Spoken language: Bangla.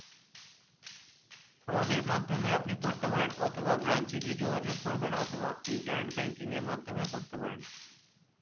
আমাদের মাধ্যমে আপনি করতে পারেন অথবা branch এ গিয়ে যোগাযোগ করবেন অথবা internet banking এর মাধ্যমে করতে পারেন